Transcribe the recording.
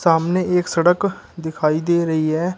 आमने एक सड़क दिखाई दे रही है।